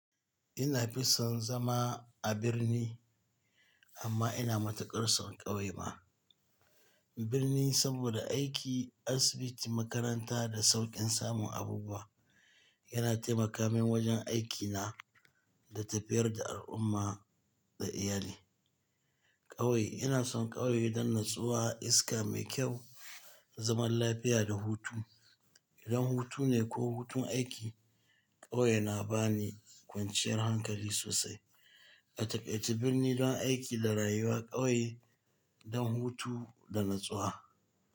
Ina fison zama a birni amma ina matuƙar son ƙauye ma. Birni saboda aiki, asibiti, makaranta da sauƙin samun abubuwa yana taimaka min wajen aikina da tafiyar da al'umma da iyali. Ƙauye ina son ƙauye don natsuwa, iska mai kyau, zaman lafiya da hutu. Idan hutu ne ko hutun aiki, ƙauye na ba ni kwanciyar hankali sosai. A taƙaice birni don aiki da rayuwa, ƙauye don hutu da natsuwa.